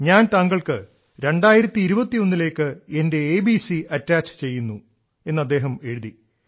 ഞാൻ താങ്കൾക്ക് 2021 ലേക്ക് എന്റെ എബിസി അറ്റാച്ച് ചെയ്യുന്നു എന്ന് അദ്ദേഹം എഴുതി